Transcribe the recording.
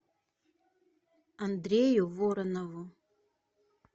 андрею воронову